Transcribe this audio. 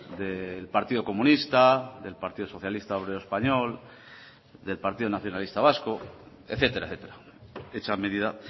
del partido comunista del partido socialista obrero español del partido nacionalista vasco etcétera etcétera hecha medida